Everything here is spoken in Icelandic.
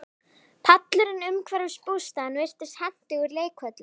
Pallurinn umhverfis bústaðinn virtist hentugur leikvöllur.